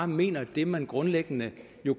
mener det man grundlæggende